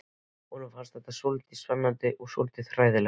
Honum fannst þetta svolítið spennandi en líka svolítið hræðilegt.